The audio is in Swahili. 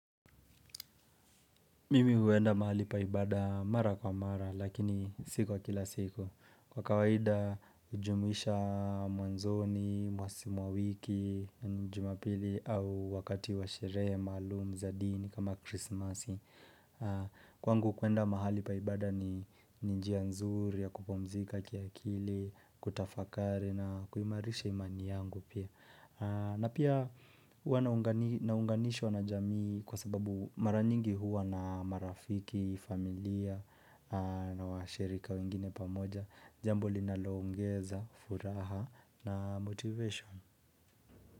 Mimi huenda mahali pa ibada, mara kwa mara, lakini si kwa kila siku. Kwa kawaida, hujumuisha mwanzoni, mwa wiki, jumapili au wakati wa sherehe, maalumu za dini kama krismasi. Kwangu kuenda mahali pa ibada ni njia nzuri ya kupumzika kiakili, kutafakari na kuhimarisha imani yangu pia. Na pia huwa naunganishwa na jamii kwa sababu mara nyingi huwa na marafiki, familia na washirika wengine pamoja, jambo linalo ongeza, furaha na motivation.